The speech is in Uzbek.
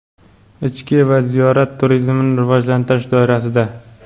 ichki va ziyorat turizmini rivojlantirish doirasida:.